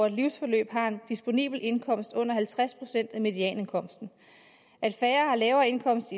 et livsforløb har en disponibel indkomst på under halvtreds procent af medianindkomsten at færre har lavere indkomst